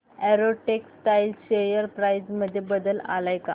Arrow textiles share price मध्ये बदल आलाय का